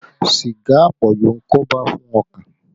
Sìgá àpọ̀jù ń koba fún ọkàn